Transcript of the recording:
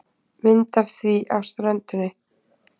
Mynd á því af ströndinni.